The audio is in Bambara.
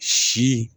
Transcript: Si